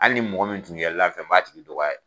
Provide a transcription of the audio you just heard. Hali ni mɔgɔ min tun yɛlɛ la fɛ m'a tigi dɔgɔya